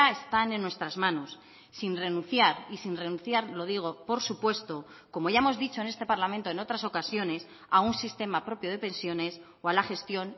están en nuestras manos sin renunciar y sin renunciar lo digo por supuesto como ya hemos dicho en este parlamento en otras ocasiones a un sistema propio de pensiones o a la gestión